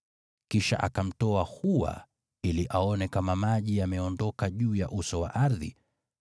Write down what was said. Kisha akamtoa hua ili aone kama maji yameondoka juu ya uso wa ardhi.